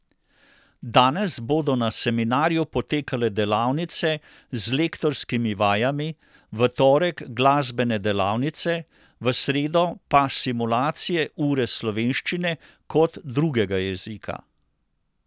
Danes bodo na seminarju potekale delavnice z lektorskimi vajami, v torek glasbene delavnice, v sredo pa simulacije ure slovenščine kot drugega jezika.